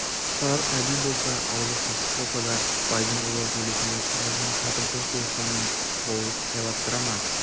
тұрар әділ болса аузы қисық болса да байдың ұлы сөйлесін деп өзінің татымсыз туысқанын болыс сайлаттыра ма